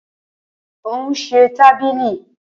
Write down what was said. Ó ún se tábìlì.